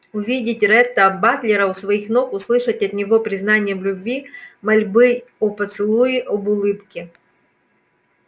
увидеть ретта батлера у своих ног услышать от него признание в любви мольбы о поцелуе об улыбке